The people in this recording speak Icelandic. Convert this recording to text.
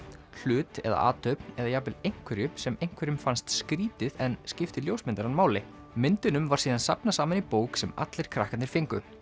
hlut eða athöfn eða jafnvel einhverju sem einhverjum finnst kannski skrýtið en skiptir ljósmyndarann máli myndunum var síðan safnað saman í bók sem allir krakkarnir fengu